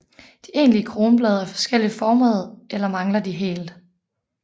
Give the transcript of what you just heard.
De egentlige kronblade er forskelligt formede eller mangler de helt